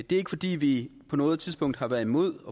det er ikke fordi vi på noget tidspunkt har været imod